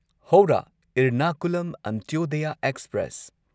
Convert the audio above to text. Howrah Ernakulam Antyodaya express